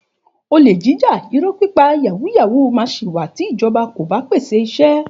Òlẹ jíjá, ìró pipa, yàwú yàwú mà si wà tí ìjọbá o bà pẹse ìsẹ